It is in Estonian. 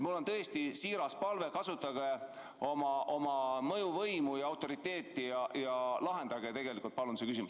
Mul on tõesti siiras palve: kasutage oma mõjuvõimu ja autoriteeti ja lahendage palun see küsimus.